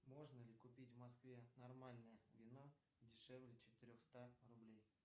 можно ли купить в москве нормальное вино дешевле четырехста рублей